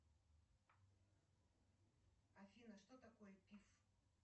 афина что такое пиф